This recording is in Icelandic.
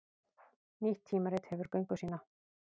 Nýtt tímarit hefur göngu sína